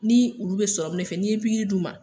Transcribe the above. Ni olu be de fɛ ni ye pikiri d' u ma.